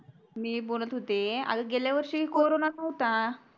मी बोलत होते गेल्या वर्षी corona नव्हता